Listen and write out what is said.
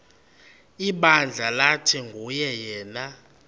ibandla lathi nguyena